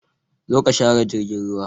Zo ka share jirgin ruwa!